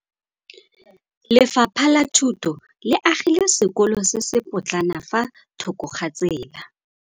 Lefapha la Thuto le agile sekôlô se se pôtlana fa thoko ga tsela.